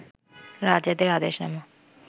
রাজাদের আদেশনামা